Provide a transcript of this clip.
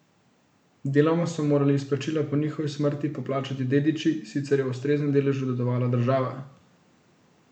Deloma so morali izplačila po njihovi smrti poplačati dediči, sicer je v ustreznem deležu dedovala država.